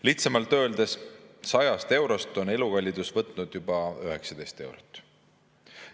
Lihtsamalt öeldes, 100 eurost on elukallidus võtnud juba 19 eurot.